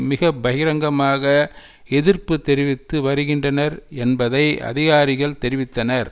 மிக பகிரங்கமாக எதிர்ப்பு தெரிவித்து வருகின்றனர் என்பதை அதிகாரிகள் தெரிவித்தனர்